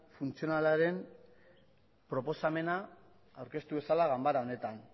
funtzionalaren proposamena aurkeztu dezala ganbara honetan